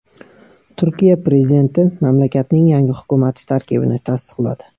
Turkiya prezidenti mamlakatning yangi hukumati tarkibini tasdiqladi .